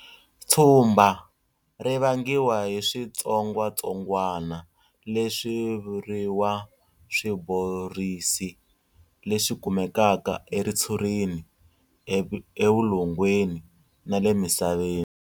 Tshumba ri vangiwa hi switsongwatsongwana, leswi vuriwa swiborisi, leswi kumekaka eritshurini, evulongweni na le misaveni.